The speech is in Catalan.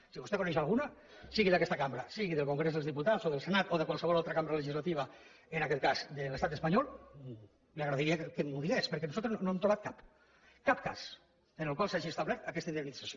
si vostè en coneix alguna sigui d’aquesta cambra sigui del congrés dels diputats o del senat o de qualsevol altra cambra legislativa en aquest cas de l’estat espanyol li agrairia que m’ho digués perquè nosaltres no n’hem trobat cap cap cas en el qual s’hagi establert aquesta indemnització